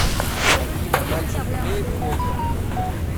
афина мальцев имеет хобби